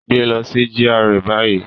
Gbe lọ si GRA bayi!